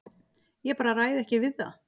Ég bara ræð ekki við það.